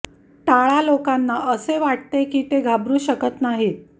टाळा लोकांना असे वाटते की ते घाबरू शकत नाही